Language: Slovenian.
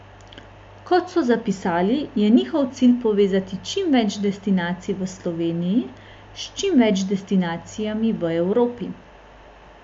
Kot so zapisali, je njihov cilj povezati čim več destinacij v Sloveniji s čim več destinacijami v Evropi.